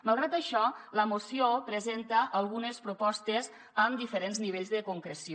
malgrat això la moció presenta algunes propostes amb diferents nivells de concreció